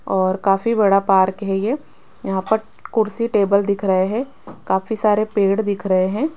और काफी बड़ा पार्क है ये यहां पर कुर्सी टेबल दिख रहे हैं काफी सारे पेड़ दिख रहे हैं।